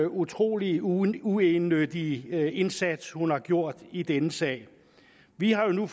utrolig uegennyttige indsats hun har gjort i denne sag vi har jo nu